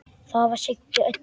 Það var Siggi Öddu.